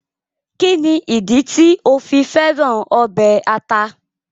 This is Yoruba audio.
Kíni ìdí tì o fi fẹ̀ràn obẹ̀ àtà?